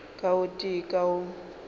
ka o tee ka o